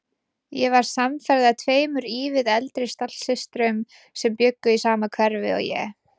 Ég varð samferða tveimur ívið eldri stallsystrum sem bjuggu í sama hverfi og ég.